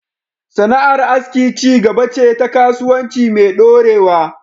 Sana’ar aski ci gaba ce ta kasuwanci mai dorewa